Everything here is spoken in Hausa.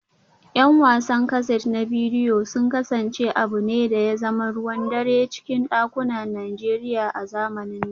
’Yan wasan kaset na bidiyo sun kasance abu ne da ya zama ruwan dare a cikin dakunan Najeriya a zamanin da